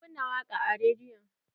Mun kunna waƙa a rediyon.